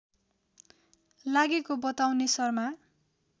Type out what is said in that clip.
लागेको बताउने शर्मा